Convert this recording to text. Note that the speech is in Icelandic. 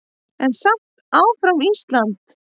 En samt áfram Ísland!